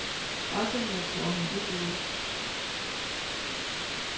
Pressemøder slår hende ikke ud.